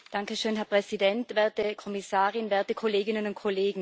Herr Präsident, werte Kommissarin, werte Kolleginnen und Kollegen!